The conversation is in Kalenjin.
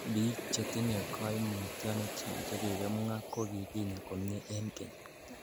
Biik chetinye koimutioniton chekikimwa ko kikinya komie en keny .